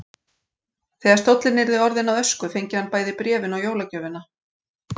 Þegar stóllinn yrði orðinn að ösku fengi hann bæði bréfin og jólagjöfina.